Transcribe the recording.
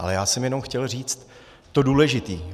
Ale já jsem jenom chtěl říct to důležité.